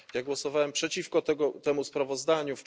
Głosowałem przeciwko tego temu sprawozdaniu.